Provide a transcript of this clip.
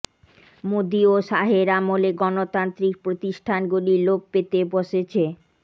মোদী ও শাহের আমলে গণতান্ত্রিক প্রতিষ্ঠানগুলি লোপ পেতে বসেছে